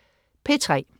P3: